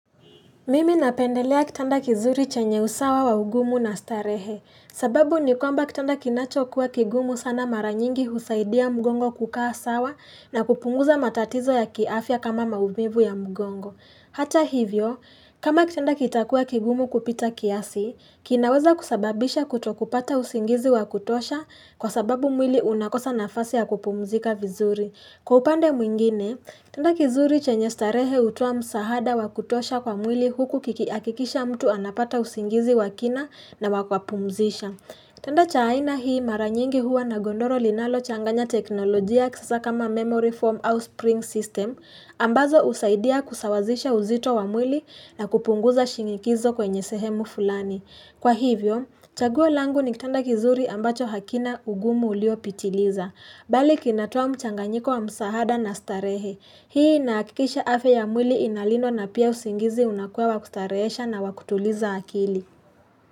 Mimi napendelea kitanda kizuri chenye usawa wa ugumu na starehe, sababu ni kwamba kitanda kinacho kuwa kigumu sana maranyingi husaidia mgongo kukaa sawa na kupunguza matatizo ya kiafya kama maumivu ya mgongo. Hata hivyo, kama kitanda kitakuwa kigumu kupita kiasi, kinaweza kusababisha kuto kupata usingizi wa kutosha kwa sababu mwili unakosa nafasi ya kupumzika vizuri. Kwa upande mwingine, kitanda kizuri chenye starehe hutoa msahada wa kutosha kwa mwili huku kikihakikisha mtu anapata usingizi wa kina na wa kuwapumzisha. Kitanda cha aina hii maranyingi huwa na gondoro linalo changanya teknolojia kisasa kama memory form au spring system, ambazo husaidia kusawazisha uzito wa mwili na kupunguza shinikizo kwenye sehemu fulani. Kwa hivyo, chaguo langu ni kitanda kizuri ambacho hakina ugumu uliopitiliza. Bali kinatoa mchanganyiko wa msahada na starehe. Hii nahakikisha afya ya mwili inalindwa na pia usingizi unakuwa wa kustarehesha na wa kutuliza akili.